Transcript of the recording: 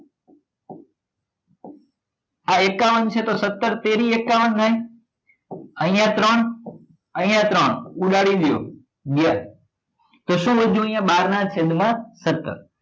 આ એકાવન છે તો સત્તર તેરી એકાવન થાય અહિયાં ત્રણ અહિયાં ત્રણ ઉડાડી દો તો શું વધ્યું અહિયાં બાર નાં છેદ માં સત્તર